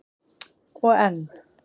Og enn